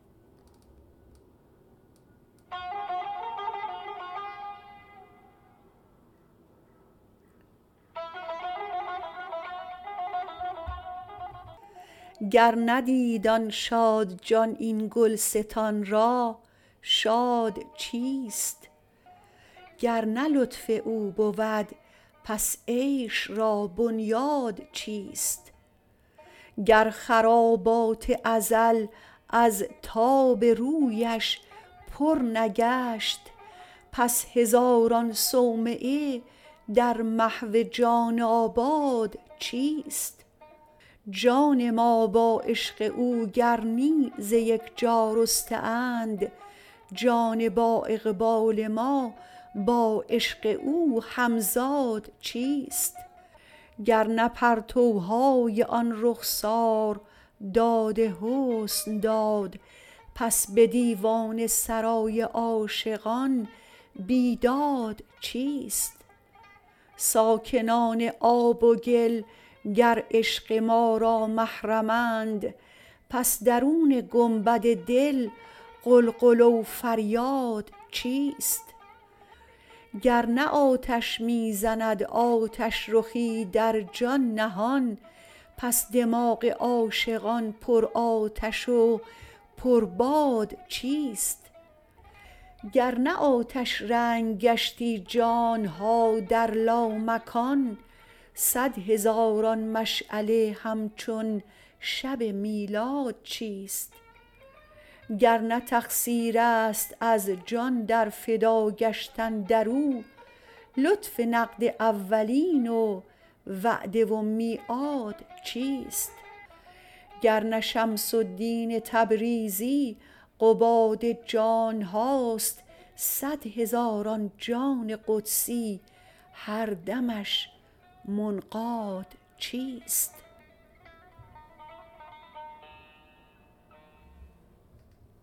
گر ندید آن شادجان این گلستان را شاد چیست گر نه لطف او بود پس عیش را بنیاد چیست گر خرابات ازل از تاب رویش پر نگشت پس هزاران صومعه در محو جان آباد چیست جان ما با عشق او گر نی ز یک جا رسته اند جان بااقبال ما با عشق او همزاد چیست گر نه پرتوهای آن رخسار داد حسن داد پس به دیوان سرای عاشقان بیداد چیست ساکنان آب و گل گر عشق ما را محرمند پس درون گنبد دل غلغله و فریاد چیست گر نه آتش می زند آتش رخی در جان نهان پس دماغ عاشقان پرآتش و پرباد چیست گر نه آتش رنگ گشتی جان ها در لامکان صد هزاران مشعله همچون شب میلاد چیست گر نه تقصیر است از جان در فدا گشتن در او لطف نقد اولین و وعده و میعاد چیست گر نه شمس الدین تبریزی قباد جان ها است صد هزاران جان قدسی هر دمش منقاد چیست